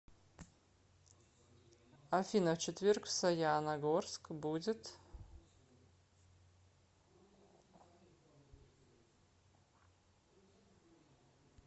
афина в четверг в саяна горск будет